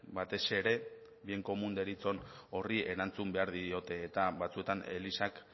batez ere bien komun deritzon horri erantzun behar diote eta batzuetan elizak